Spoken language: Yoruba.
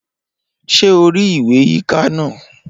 Ṣé o rí ìwé yíká náà?